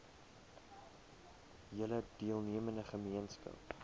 hele deelnemende gemeenskap